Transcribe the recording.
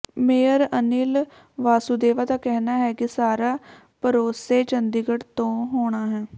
mayor Anil Vasudeva ਦਾ ਕਹਿਣਾ ਹੈ ਕਿ ਸਾਰਾ ਪਰੋਸੇਸ ਚੰਡੀਗੜ੍ਹ ਤੋਂ ਹੋਣਾ ਹੈ